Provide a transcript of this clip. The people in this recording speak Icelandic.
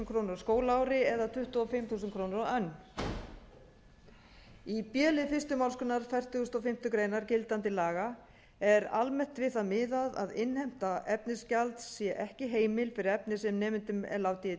krónur á skólaári eða tuttugu og fimm þúsund krónur á önn í b lið fyrstu málsgrein fertugustu og fimmtu grein gildandi laga er almennt við það miðað að innheimta efnisgjalds sé ekki heimil fyrir efni sem nemendum er látið í